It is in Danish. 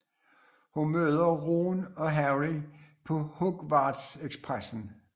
Hun møder Ron og Harry på Hogwartsekspressen